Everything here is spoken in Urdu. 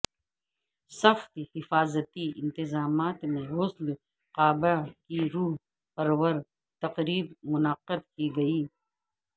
سخت حفاظتی انتظامات میں غسل کعبہ کی روح پرور تقریب منعقدکی گئی